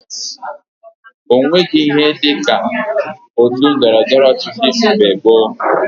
O nweghi ihe dị ka otu ndọrọndọrọ ọchịchị mgbe gboo